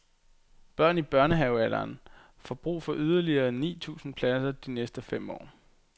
Børn i børnehavealderen får brug for yderligere ni tusind pladser de næste fem år.